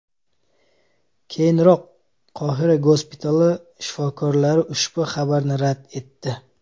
Keyinroq Qohira gospitali shifokorlari ushbu xabarni rad etdi .